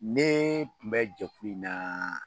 Ne kun bɛ jate in na